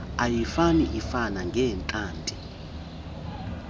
ayifani ifana ngeentlanti